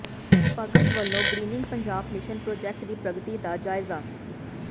ਭਗਤ ਵੱਲੋਂ greening Punjab mission project ਦੀ ਪ੍ਰਗਤੀ ਦਾ ਜਾਇਜ਼ਾ